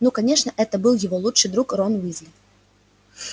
ну конечно это был его лучший друг рон уизли